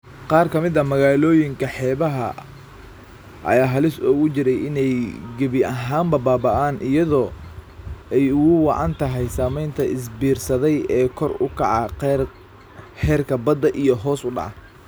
Qaar ka mid ah magaalooyinka xeebaha ah ayaa halis ugu jira inay gebi ahaanba baaba'aan iyadoo ay ugu wacan tahay saameynta isbiirsaday ee kor u kaca heerka badda iyo hoos u dhaca.